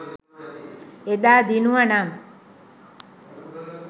එදා දිනුවනම්